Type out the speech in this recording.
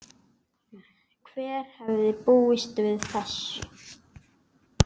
Hver hefði búist við þessu?